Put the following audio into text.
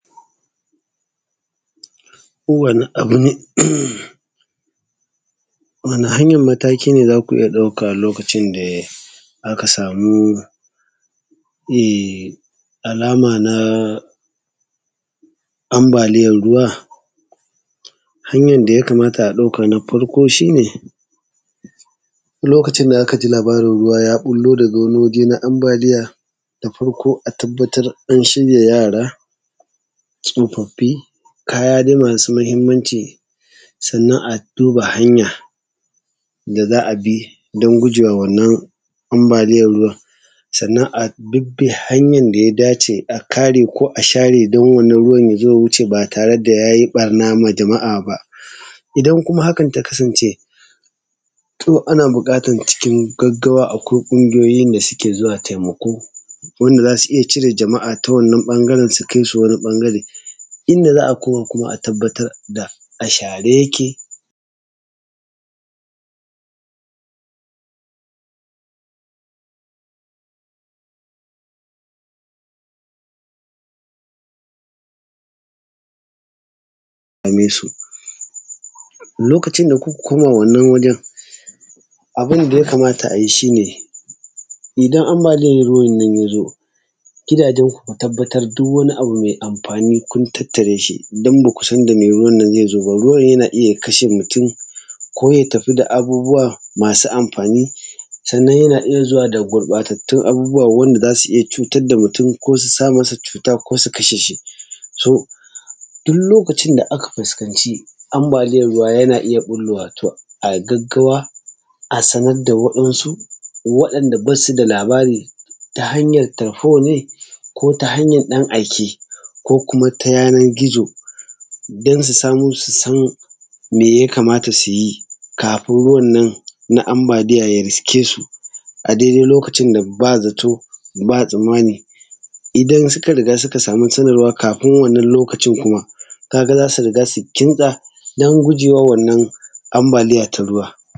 Wane hanyar mataki ne za ku iya dauka lokacin da aka samu me alama na ambaliyar ruwa, hanyar da ya kamata a dauka na farko shi ne lokacin da aka ji labarin ruwa ya ɓullo daga wani waje na ambaliya. Da farko a shiya yara tsofaffin da kaya masu muhimmanci, Sannan a duba hanya da za a bi don guje ma wannan ambaliyar ruwan. Sannan a bi hanyar da ya dace a kare ko a share don wannan ruwan ya zo ya wuce ba yare da ya yi ɓarna ba. Idan kuma hakan ta kasance, to ana buƙatar cikin gaggawa su zuwa akwai ƙungiyoyin da suke taimako wanda za su iya cire mutanen wani ɓangaren da kai su wani ɓangare. Inda za a kom kuma a tabbatar da a share yake da sauransu. Lokacin da kuka koma wannan wajen abun da. Ya kamata a yi shi ne, idan ambaliyar ruwan ya zo gidajenku ku tabbatar duk wani abu mai amfani kun tattare shi don ba ku san da me ruwan. Na zai zo ba. Ruwan yana iya ya kashe mutum zai tafi da abubuwa masu amfani. Sannan yana iya zuwa da gurɓatattun abubuwa wanda za su iya cutar da mutum ko su sa masa cuta ko su kashe shi. Duk lokacin da aka fuskanci ambaliyar ruwa yana iya ɓullowa a gaggawa a sanar da waɗansu waɗanda ba su da labari ta hanyar talfo ne ko ta hanyar ɗan aike ko kuma ta yanar gizo don su samu su san me ya kamata su yi, kafin ruwan nan na ambaliyar ya risƙe su a daidai lokacin da ba zato ba tsammani. Idan suka sama sanarwa ka ga za su riga su kimtsa don gujewa ruwan wannan ambaliyar ta ruwa.